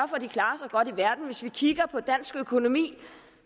godt ude i verden hvis vi kigger på dansk økonomi